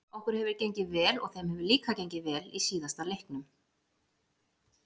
Okkur hefur gengið vel og þeim hefur líka gengið vel í síðustu leiknum.